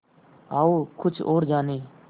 आओ कुछ और जानें